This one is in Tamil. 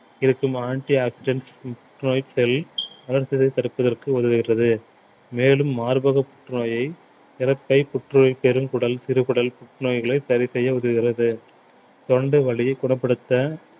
இருக்கும் antioxidant புற்றுநோய் cell வளர்சிதை தடுப்பதற்கு உதவுகிறது மேலும் மார்பக புற்றுநோயை இரப்பை புற்றுநோய் பெருங்குடல் சிறுகுடல் புற்றுநோய்களை சரி செய்ய உதவுகிறது தொண்டை வலியை குணப்படுத்த